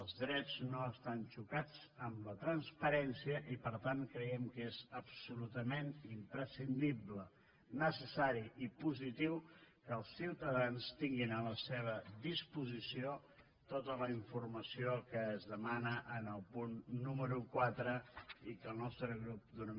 els drets no estan xocats amb la transparència i per tant creiem que és absolutament imprescindible necessari i positiu que els ciutadans tinguin a la seva disposició tota la informació que es demana en el punt número quatre al qual el nostre grup donarà suport